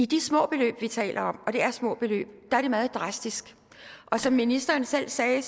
de små beløb vi taler om og det er små beløb er det meget drastisk og som ministeren selv sagde